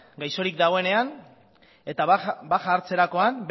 gaixorik dagoenean eta baja hartzerakoan